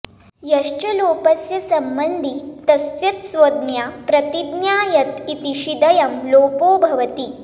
यश्च लोपस्य सम्बन्धी तस्येत्संज्ञा प्रतिज्ञायत इति शिदयं लोपो भवति